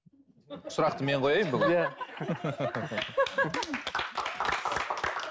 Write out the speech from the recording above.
сұрақты мен қояйын бүгін иә